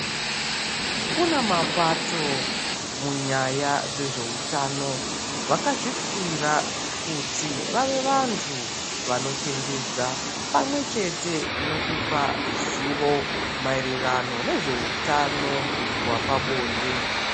Kuna mapato munyaya dzezveutano vakazvipira kuti vave vantu vanochenjedza pamwechete nekupa zivo mayererano nezveutano wepabonde .